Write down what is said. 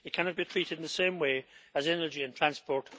It cannot be treated in the same way as energy and transport.